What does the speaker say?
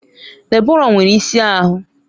Deborah nwere isi ahụ